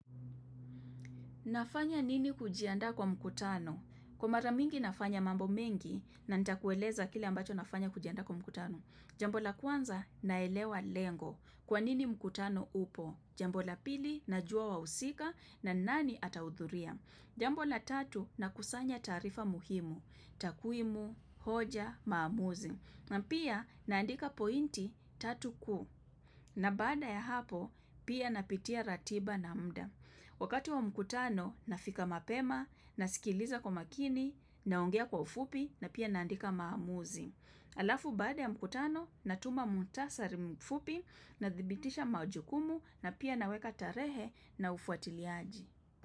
Nafanya nini kujiandaa kwa mkutano? Kwa mara mingi nafanya mambo mengi na nita kueleza kile ambacho nafanya kujianda kwa mkutano. Jambo la kwanza naelewa lengo. Kwa nini mkutano upo? Jambo la pili na jua wa usika na nani atahudhuria. Jambola tatu na kusanya tarifa muhimu. Takuimu, hoja, maamuzi. Na pia naandika pointi tatu ku. Na badaa ya hapo pia napitia ratiba na mda. Wakati wa mkutano, nafika mapema, nasikiliza kwa makini, naongea kwa ufupi, na pia naandika maamuzi. Alafu baada ya mkutano, natuma muhtasari mfupi, nadhibitisha majukumu, na pia naweka tarehe na ufuatiliaji.